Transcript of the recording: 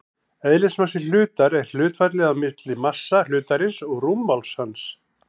Eðlismassi hlutar er hlutfallið á milli massa hlutarins og rúmmáls hans.